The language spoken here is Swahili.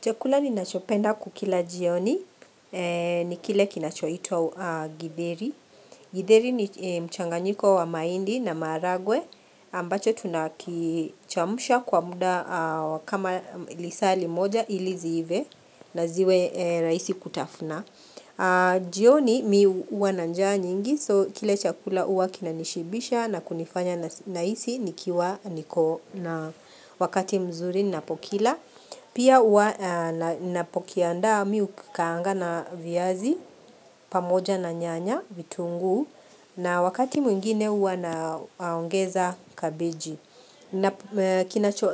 Chakula ninachopenda kukila jioni, ni kile kinachoitwa githeri, Githeri ni mchanganyiko wa mahindi na maragwe, ambacho tunakichemusha kwa muda kama lisaa limoja ili ziive na ziwe raisi kutafuna. Jioni mimi huwa nanjaa nyingi, so kile chakula huwa kinanishibisha na kunifanya nahisi nikiwa niko na wakati mzuri napokila, Pia huwa ninapokiandaa mimi hukikaanga na viazi pamoja na nyanya vitunguu na wakati mwingine huwa naongeza kabiji.